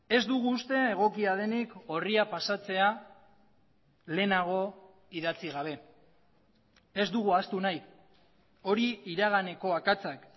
ez dugu uste egokia denik orria pasatzea lehenago idatzi gabe ez dugu ahaztu nahi hori iraganeko akatsak